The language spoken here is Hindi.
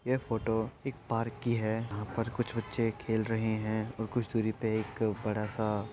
ये फोटो एक पार्क की है जहाँं पर कुछ बच्चे खेल रहे हैं और कुछ दुरी पे एक बड़ा सा --